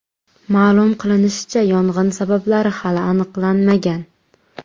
Ma’lum qilinishicha, yong‘in sabablari hali aniqlanmagan.